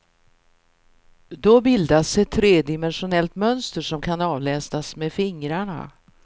Då bildas ett tredimensionellt mönster som kan avläsas med fingrarna.